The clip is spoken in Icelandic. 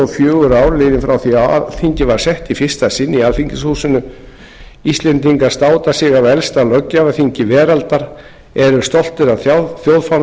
fjögur ár liðin frá því að alþingi var sett í fyrsta sinn í alþingishúsinu íslendingar státa sig af elsta löggjafarþingi veraldar eru stoltir af þjóðfána